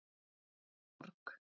Ekki sorg.